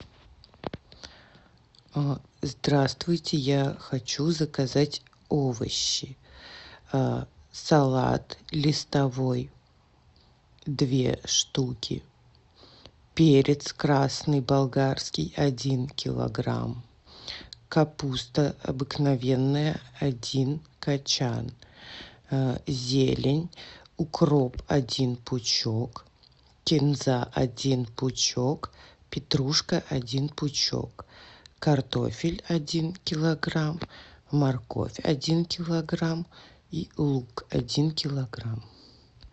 здравствуйте я хочу заказать овощи салат листовой две штуки перец красный болгарский один килограмм капуста обыкновенная один кочан зелень укроп один пучок кинза один пучок петрушка один пучок картофель один килограмм морковь один килограмм и лук один килограмм